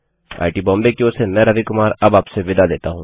IIT Bombay की ओर से मैं रवि कुमार अब आपसे विदा लेता हूँ